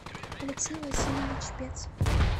алексей васильевич пец